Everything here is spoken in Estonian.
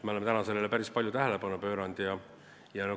Me oleme sellele teemale päris palju tähelepanu pööranud.